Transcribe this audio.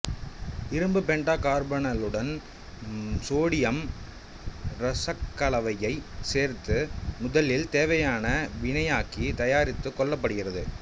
இரும்பு பெண்டாகார்பனைலுடன் சோடியம் இரசக்கலவையைச் சேர்த்து முதலில் தேவையான வினையாக்கி தயாரித்துக் கொள்ளப்படுகிறது